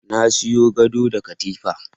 Na sayo gado da katifa.